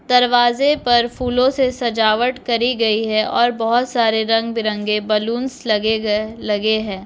दरवाजे़ पर फूलों से सजावट करी गयी है और बहुत सारे रंग बिरंगे बलूनस् लगे गए लगे हैं।